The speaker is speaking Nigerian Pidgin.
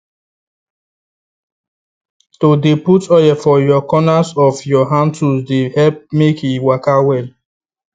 to dey put oil for your corners of your hand tools dey help make e waka well